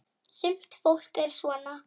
Sumt fólk er svona.